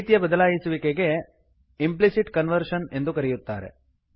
ಈ ರೀತಿಯ ಬದಲಾಯಿಸುವಿಕೆಗೆ ಇಂಪ್ಲಿಸಿಟ್ ಕನ್ವರ್ಷನ್ ಇಂಪ್ಲಿಸಿಟ್ ಕನ್ವರ್ಷನ್ ಎಂದು ಕರೆಯುತ್ತಾರೆ